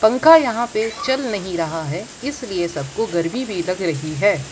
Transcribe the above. पंखा यहां पे चल नहीं रहा है इसलिए सबको गर्मी भी लग रही है।